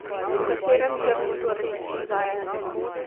V katerem grmu torej tiči zajec?